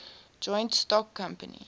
joint stock company